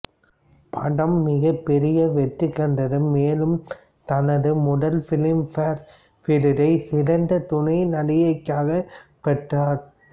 படம் மிகப் பெரிய வெற்றிகண்டது மேலும் தனது முதல் ஃபிலிம் ஃபேர் விருதை சிறந்த துணை நடிகைக்காக பெற்றார்